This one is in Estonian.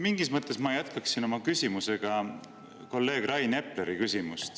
Mingis mõttes ma jätkan oma küsimusega kolleeg Rain Epleri küsimust.